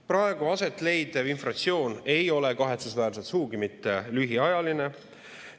Praegu aset leidev inflatsioon ei ole kahetsusväärselt sugugi mitte lühiajaline.